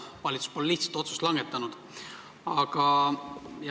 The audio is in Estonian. Valitsus pole lihtsalt otsust langetanud.